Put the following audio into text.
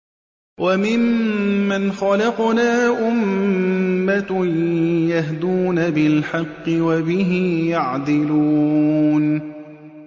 وَمِمَّنْ خَلَقْنَا أُمَّةٌ يَهْدُونَ بِالْحَقِّ وَبِهِ يَعْدِلُونَ